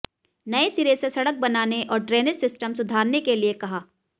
नए सिरे से सड़क बनाने और ड्रेनेज सिस्टर सुधारने के लिए कहा